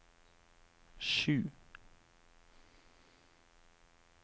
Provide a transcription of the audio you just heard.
sju